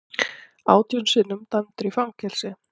Átján sinnum dæmdur í fangelsi